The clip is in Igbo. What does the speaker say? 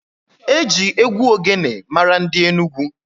Eji egwu ogene mara ndị Enugwu.